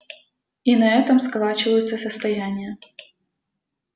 и на этом сколачиваются состояния